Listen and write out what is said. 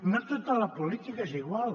no tota la política és igual